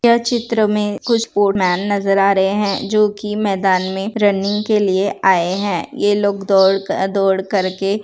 यह चित्र मे कुछ स्पोर्ट्समैन नजर आ रहे है जो की मैदान मे रनिंग के लिए आऐ है यह लोग दोड़ क दोड़ कर के --